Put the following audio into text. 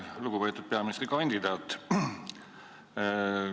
Lugupeetud peaministrikandidaat!